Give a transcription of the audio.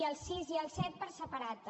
i el sis i el set per separat també